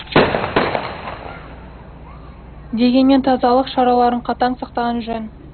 дегенмен тазалық шараларын қатаң сақтаған жөн